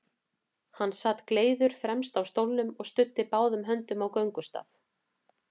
Hann sat gleiður fremst á stólnum og studdi báðum höndum á göngustaf.